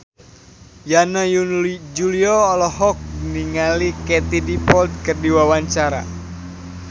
Yana Julio olohok ningali Katie Dippold keur diwawancara